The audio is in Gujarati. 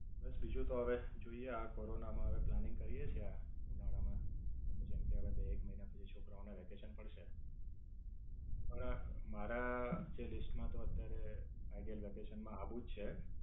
બસ બીજું તો હવે જોઈએ આ કોરોના માં હવે પ્લાનિંગ કરીયે છીએ આ ઉનાળા માં જેમકે હવે બે-એક મહિના પછી છોકરાઓને વેકેશન પડશે. પણ મારા જે list માં તો અત્યારે The ideal vacation માં આવવું જ છે.